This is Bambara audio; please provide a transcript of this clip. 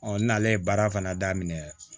n'ale ye baara fana daminɛ